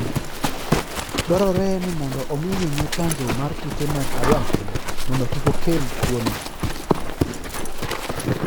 Dwarore ni omi winyo chanjo mar kute mag ayaki mondo kik okel tuwono.